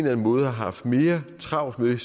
anden måde har haft mere travlt med